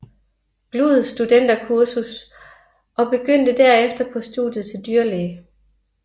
Gluuds studenterkursus og begyndte derefter på studiet til dyrlæge